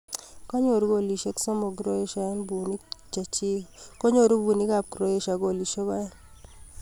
kanyoru golishek somok croatia en punik kiche chik kenyoru punik ab croatia golisek aeng